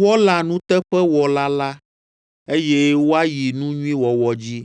Wɔla nuteƒetɔwɔla la, eye woayi nu nyui wɔwɔ dzi.